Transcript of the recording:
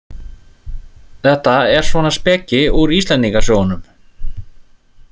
Þetta er svona speki úr Íslendingasögunum.